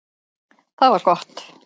Það var gott